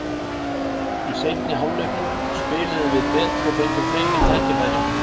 Í seinni hálfleiknum spiluðum við betur og fengum fleiri tækifæri.